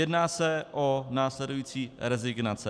Jedná se o následující rezignace.